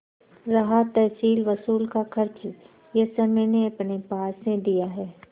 रहा तहसीलवसूल का खर्च यह सब मैंने अपने पास से दिया है